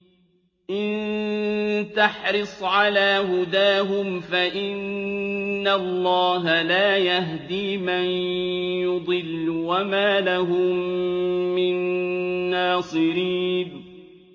إِن تَحْرِصْ عَلَىٰ هُدَاهُمْ فَإِنَّ اللَّهَ لَا يَهْدِي مَن يُضِلُّ ۖ وَمَا لَهُم مِّن نَّاصِرِينَ